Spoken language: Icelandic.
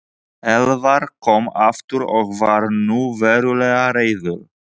Elvar kom aftur og var nú verulega reiður.